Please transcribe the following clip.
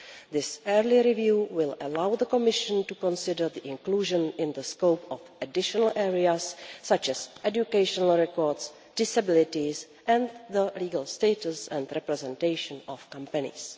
This early review will allow the Commission to consider the inclusion in the scope of additional areas such as educational records, disabilities, and the legal status and representation of companies.